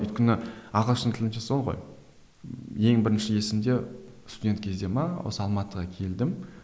өйткені ағылшын тілінше сол ғой ең бірінші есімде студент кезде ме осы алматыға келдім